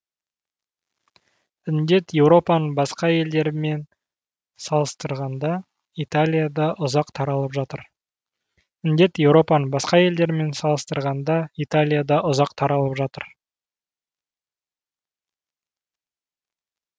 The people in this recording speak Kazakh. індет еуропаның басқа елдерімен салыстырғанда италияда ұзақ таралып жатыр